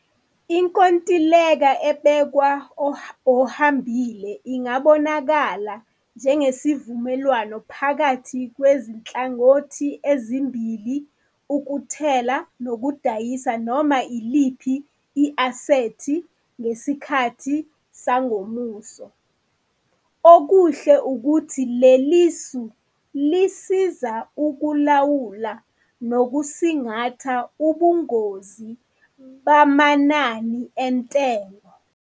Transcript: Inkontileka ebekwa ohambile ingabonakala njengesivumelwano phakathi kwezinhlangothi ezimbili ukuthela nodayisa noma iliphi i-asethi ngesikhathi sangomuso. Okuhle ukuthi lelisu lisiza ukulawula nokusingatha ubungozi bamanani entengo.